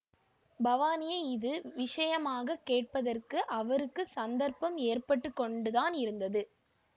பவானியை இது விஷயமாகக் கேட்பதற்கு அவருக்கு சந்தர்ப்பம் ஏற்பட்டு கொண்டுதான் இருந்தது